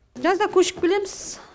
жазда көшіп келеміз